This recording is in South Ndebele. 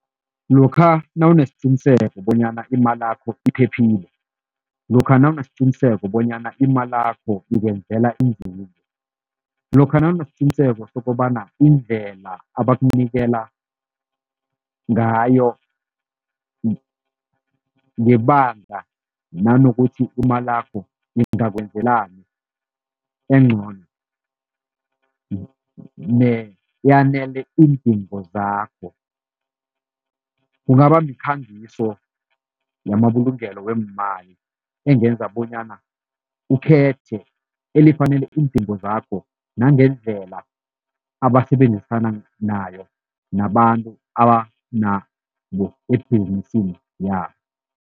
Lokha nawunesiqiniseko bonyana imalakho iphephile, lokha nawunesiqiniseko bonyana imalakho ikwenzela inzuzo, lokha nawunesiqiniseko sokobana indlela abakunikela ngayo ngebanga nanokuthi imalakho ingakwenzelani encono, neyanele iindingo zakho kungaba mikhangiso yamabulungelo weemali engenza bonyana ukhethe elifanele iindingo zakho nangendlela abasebenzisana nayo nabantu ebhizinisini yabo.